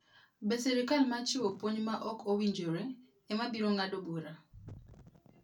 Be sirkal ma chiwo puonj ma ok owinjore, ema biro ng'ado bura?'